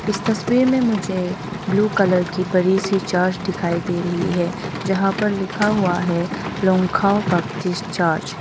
इस तस्वीर में मुझे ब्लू कलर की बड़ी सी चर्च दिखाई दे रही है जहां पर लिखा हुआ है लॉन्कहाव बापटिस्ट चर्च ।